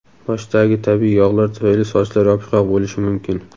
Boshdagi tabiiy yog‘lar tufayli sochlar yopishqoq bo‘lishi mumkin.